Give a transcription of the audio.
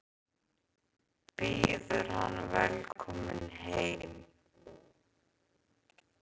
Býður hann velkominn heim.